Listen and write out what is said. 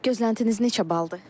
Gözləntiniz neçə baldır?